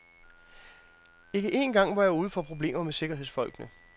Ikke en gang var jeg ude for problemer med sikkerhedsfolkene.